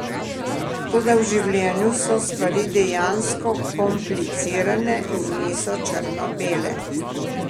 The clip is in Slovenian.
Toda v življenju so stvari dejansko komplicirane in niso črnobele.